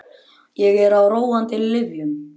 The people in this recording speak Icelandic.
Ég er á róandi lyfjum.